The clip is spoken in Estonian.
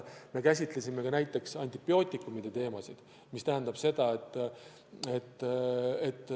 Me käsitlesime ka näiteks antibiootikumide teemat.